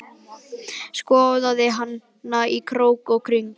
Skoðaði hana í krók og kring.